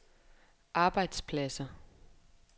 arbejdspladser